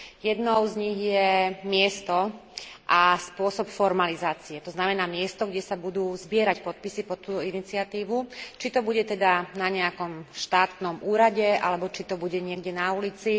Jednou z nich je miesto a spôsob formalizácie, to znamená miesto, kde sa budú zbierať podpisy pod tú iniciatívu, či to bude teda na nejakom štátnom úrade alebo či to bude niekde na ulici.